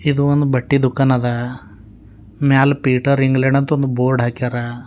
ಇದು ಒಂದು ಬಟ್ಟಿ ದುಕಾನ ಅದ ಮ್ಯಾಲ್ ಪೀಠರ್ ಇಂಗ್ಲೆಂಡ್ ಅಂತ ಒಂದು ಬೋರ್ಡ್ ಹಾಕ್ಯಾರ.